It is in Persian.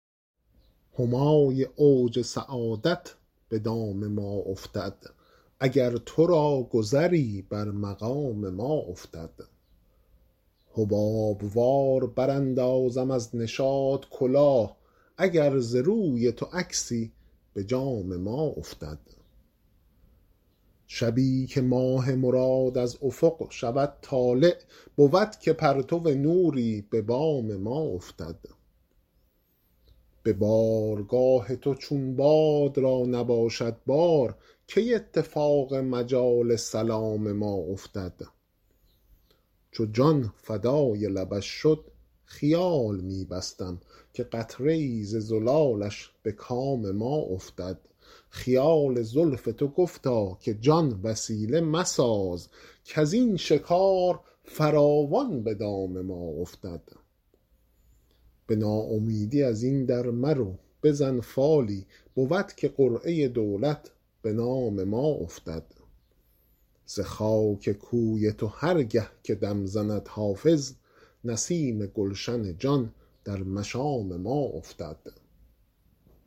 همای اوج سعادت به دام ما افتد اگر تو را گذری بر مقام ما افتد حباب وار براندازم از نشاط کلاه اگر ز روی تو عکسی به جام ما افتد شبی که ماه مراد از افق شود طالع بود که پرتو نوری به بام ما افتد به بارگاه تو چون باد را نباشد بار کی اتفاق مجال سلام ما افتد چو جان فدای لبش شد خیال می بستم که قطره ای ز زلالش به کام ما افتد خیال زلف تو گفتا که جان وسیله مساز کز این شکار فراوان به دام ما افتد به ناامیدی از این در مرو بزن فالی بود که قرعه دولت به نام ما افتد ز خاک کوی تو هر گه که دم زند حافظ نسیم گلشن جان در مشام ما افتد